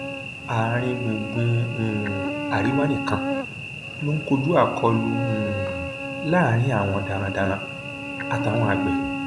àáríngbùngbùn um àríwá nìkan ló ń kojú akólú um láàrin àwọn darandaran àtàwọn àgbẹ